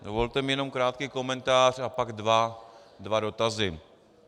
Dovolte mi jenom krátký komentář a pak dva dotazy.